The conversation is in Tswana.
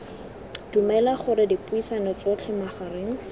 dumela gore dipuisano tsotlhe magareng